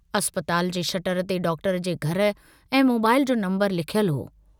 अस्पताल जे शटर ते डॉक्टर जे घर ऐं मोबाईल जो नम्बर लिखयलु हो।